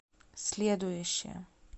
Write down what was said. следующая